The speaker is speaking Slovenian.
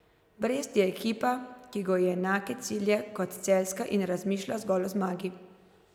Brest je ekipa, ki goji enake cilje kot celjska in razmišlja zgolj o zmagi.